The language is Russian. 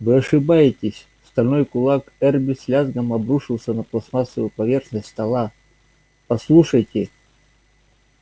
вы ошибаетесь стальной кулак эрби с лязгом обрушился на пластмассовую поверхность стола послушайте